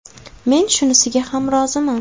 Men shunisiga ham roziman.